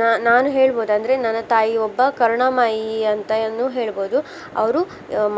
ನಾ~ ನಾನು ಹೇಳ್ಬಹುದು ಅಂದ್ರೆ ನನ್ನ ತಾಯಿ ಒಬ್ಬ ಕರುಣಾಮಯಿ ಅಂತಾನು ಹೇಳ್ಬಹುದು. ಅವ್ರು